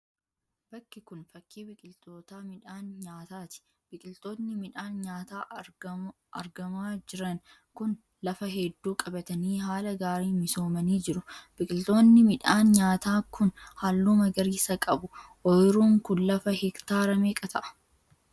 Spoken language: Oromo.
Bakki kun fakki biqiltoota midhaan nyaataati. Biqiltoonni midhaan nyaataa argamaa jiran kun lafa hedduu qabatanii haala gaariin misoomanii jiru. Biqiloonni midhaan nyaataa kun halluu magariisa qabu. Oyiruun kun lafa hektaara meeqa ta'a?